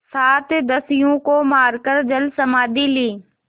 सात दस्युओं को मारकर जलसमाधि ली